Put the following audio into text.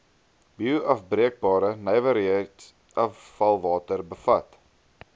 bioafbreekbare nywerheidsafvalwater bevat